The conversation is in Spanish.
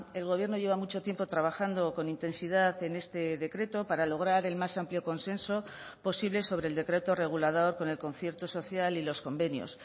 el gobierno lleva mucho tiempo trabajando con intensidad en este decreto para lograr el más amplio consenso posible sobre el decreto regulador con el concierto social y los convenios